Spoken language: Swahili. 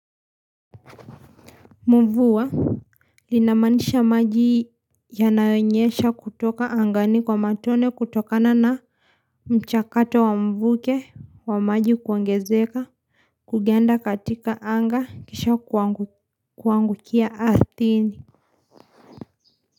Mvua Linamaanisha maji Yanayonyesha kutoka angani kwa matone kutokana na mchakato wa mvuke wa maji kuongezeka kuganda katika anga kisha kuangukia ardhini.